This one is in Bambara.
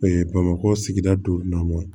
bamakɔ sigida dɔ